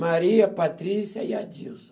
Maria, Patrícia e Adilson.